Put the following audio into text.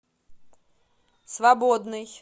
свободный